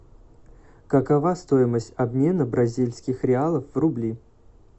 какова стоимость обмена бразильских реалов в рубли